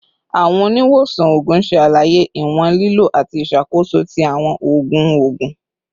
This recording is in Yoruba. Awọn oniwosan oogun ṣe alaye iwọn lilo ati iṣakoso ti awọn oogun oogun